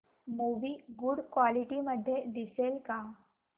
movie good quality मध्ये दिसेल का